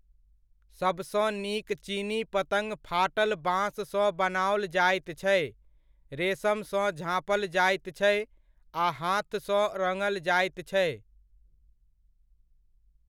सबसँ नीक चीनी पतङ्ग फाटल बाँस सँ बनाओल जाइत छै, रेशमसँ झाँपल जाइत छै, आ हाथसँ रङ्गल जाइत छै।